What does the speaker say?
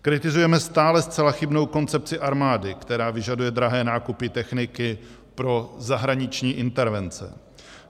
Kritizujeme stále zcela chybnou koncepci armády, která vyžaduje drahé nákupy techniky pro zahraniční intervence.